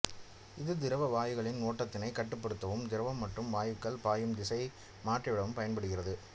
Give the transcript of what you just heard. இது திரவவாயுக்களின் ஓட்டத்தினை கட்டுப்படுத்தவும் திரவம் மற்றும் வாயுக்கள் பாயும் திசையை மாற்றிவிடவும் பயன்படுகிறது